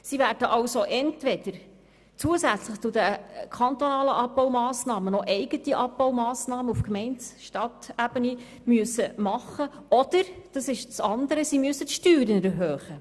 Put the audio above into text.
Sie werden entweder zusätzlich zu den kantonalen noch eigene Abbaumassnahmen auf Gemeindeebene veranlassen müssen, oder sie werden gezwungen, die Steuern zu erhöhen.